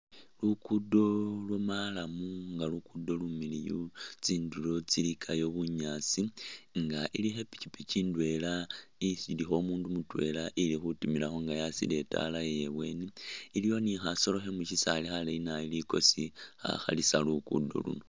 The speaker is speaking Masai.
Luguudo lwa marram nga luguudo lumiliyu, tsindulo tsilikayo bunyaasi nga ilikho i'pikipiki ndwela isi ilikho umundu mutwela ili khutimilakho nga yakhasile itaala ye ibweeni. Iliyo ni khasolo khe mu sisaali khaleeyi nabi likosi khakhalisa luguudo.